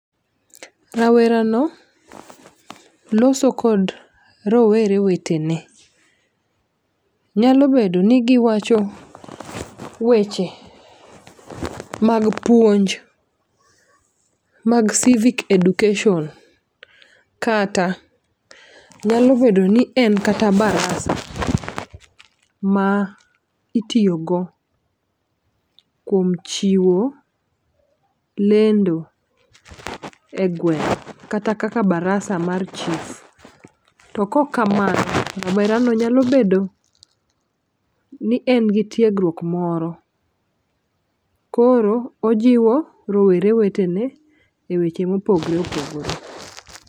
Rawera no loso kod rowere wetene nyalo bedo ni giwacho weche mag puonj mag civic education. Kata nyalo bedo ni en kata barasa ma itiyo go kuom chiwo lendo e gweng' kata kaka barasa mar chif. To kok kamano rawera no nyalo bedo ni en gi tiegruok moro koro ojiwo rowere wetene e weche mopogre opogore.